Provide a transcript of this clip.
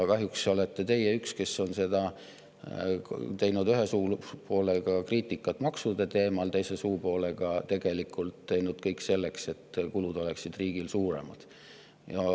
Kahjuks olete teie üks, kes on teinud ühe suupoolega kriitikat maksude teemal ja teise suupoolega teinud tegelikult kõik selleks, et kulud oleksid riigil suuremad.